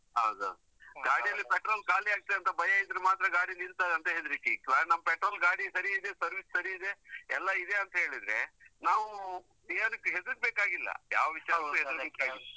ಹೌದು ಹೌದು. ಗಾಡಿಯಲ್ಲಿ petrol ಖಾಲಿ ಆಗ್ತದೆಅಂತ ಭಯ ಇದ್ರೆ ಮಾತ್ರ ಗಾಡಿ ನಿಲ್ತದಂತ ಹೆದ್ರಿಕೆ, ಆದ್ರೆ petrol ಗಾಡಿ ಸರಿ ಇದೆ, service ಸರಿ ಇದೆ, ಎಲ್ಲ ಇದೆ ಅಂತೆಳಿದ್ರೆ, ನಾವು ಏನಕ್ಕೂ ಹೆದರ್ಬೇಕಾಗಿಲ್ಲ ಯಾವ ವಿಷಯಕ್ಕೂ ಹೆದರ್ಬೇಕಾಗಿಲ್ಲ